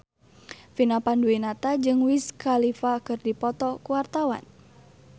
Vina Panduwinata jeung Wiz Khalifa keur dipoto ku wartawan